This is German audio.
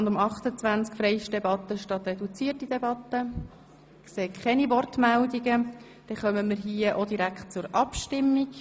– Ich sehe keine Wortmeldungen, damit kommen wir auch hier direkt zur Abstimmung.